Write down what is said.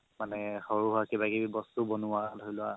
মানে সৰু হওক কিবা কিবি বস্তু বনোৱা ধৰি লোৱা